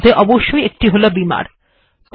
যার মধ্যে অবশ্যই একটি হল বিমার